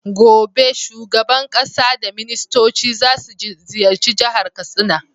Gobe shuban ƙasa da ministoci zasu ziyarci jahar katsina